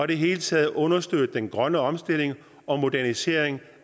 det hele taget understøtte den grønne omstilling og modernisering